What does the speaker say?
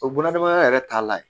O bunadamadenya yɛrɛ taa la yen